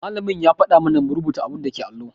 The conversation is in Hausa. Malamin ya faɗa mana mu rubuta abun dake allo.